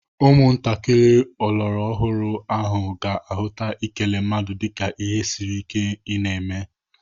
Ụmụntakịrị ọlọrọọhụrụ ahụ ga-ahụta ikele mmadu dịka ihe siri ike ị na-eme.